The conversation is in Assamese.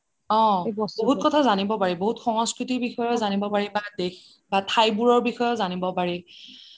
বহুত কথা জানিব পাৰি বহুত সংস্কৃতি বিষয়ে জানিব পাৰি বা দেশ বা ঠাইবোৰৰ বিষয়েয়ো জানিব পাৰি